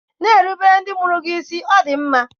Na-erubere ndị mụrụ gị isi, Ọ dị mma!